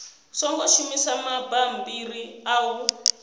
songo shumisa mabammbiri a u